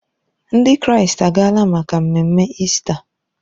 Ndị Kraịst agaala maka mmemme Ista.